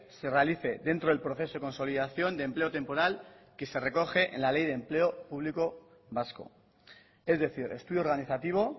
se realice dentro del proceso de consolidación de empleo temporal que se recoge en la ley de empleo público vasco es decir estudio organizativo